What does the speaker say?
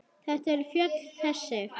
Hver eru fjöll þessi?